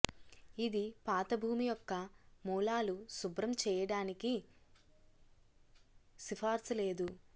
ఇది పాత భూమి యొక్క మూలాలు శుభ్రం చేయడానికి సిఫార్సు లేదు